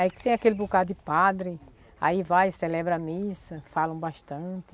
É que tem aquele bocado de padre, aí vai, celebra a missa, falam bastante.